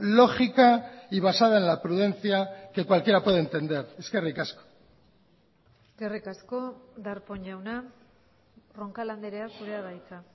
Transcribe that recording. lógica y basada en la prudencia que cualquiera puede entender eskerrik asko eskerrik asko darpón jauna roncal andrea zurea da hitza